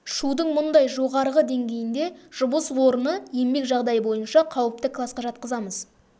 шудың мұндай жоғарғы деңгейінде жұмыс орны еңбек жағдайы бойынша қауіпті классқа жатқызамыз